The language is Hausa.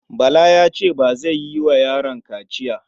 Bala ya ce ba zai yi wa yaron kaciya.